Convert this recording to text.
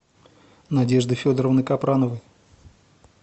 надежды федоровны капрановой